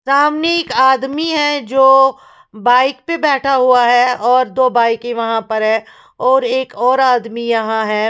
सामने एक आदमी हैं जो बाइक पे बैठा हुआ हैं और दो बाइके वहाँ पर हैं और एक और आदमी यहाँ हैं।